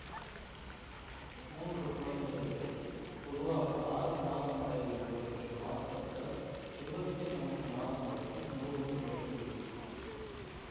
மூன்று குழந்தைகளில் பொதுவாக ஆறு மாதமளவில் முளைக்கும் பாற்பற்கள் இருபத்தி நான்கு மாதமளவில் முழுவதும் முளைத்திவிடும்